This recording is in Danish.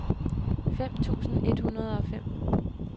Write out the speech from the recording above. fem tusind et hundrede og fem